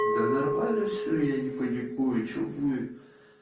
да нормально все я не паникую что будет